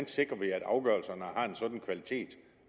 sikrer at afgørelserne har en sådan kvalitet